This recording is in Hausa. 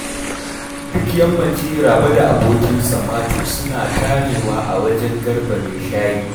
Duk yammaci Rabe da abokinsa Mato suna tarewa a wajen Garba mai shayi